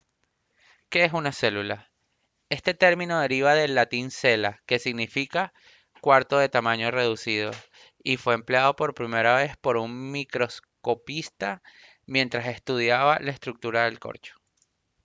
¿qué es una célula? este término deriva del latín cella que significa «cuarto de tamaño reducido» y fue empleado por primera vez por un microscopista mientras estudiaba la estructura del corcho